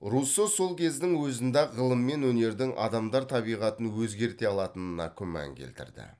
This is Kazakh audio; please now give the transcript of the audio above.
руссо сол кездің өзінде ақ ғылым мен өнердің адамдар табиғатын өзгерте алатынына күмән келтірді